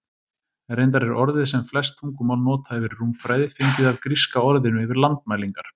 Reyndar er orðið sem flest tungumál nota yfir rúmfræði fengið af gríska orðinu yfir landmælingar.